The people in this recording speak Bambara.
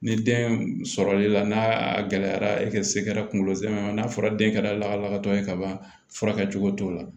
Ni den sɔrɔli la n'a gɛlɛyara e ka se kɛra kunkolo zɛmɛ n'a fɔra den kɛra lahalatɔ ye ka ban fura kɛcogo t'o la